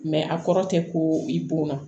a kɔrɔ tɛ ko i bon na